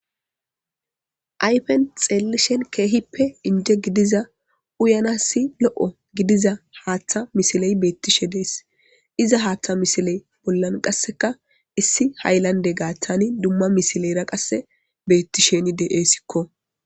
Ayfen xeellishen keehippe inje gidiza uyanassi lo'o gidiza haaththa misiley beettishe dees iza haaththa misiley bollan qasseka issi haylande gaaththani dumma misileyra qasse beettisheni de'sikko.